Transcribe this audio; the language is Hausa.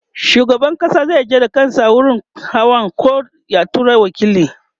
shugaban ƙasa zai je da kansa wurin hawan koh ya tura waƙili